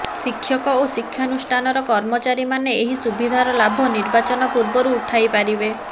ଶିକ୍ଷକ ଓ ଶିକ୍ଷାନୁଷ୍ଠାନର କର୍ମଚାରୀମାନେ ଏହି ସୁବିଧାର ଲାଭ ନିର୍ବାଚନ ପୂର୍ବରୁ ଉଠାଇ ପାରିବେ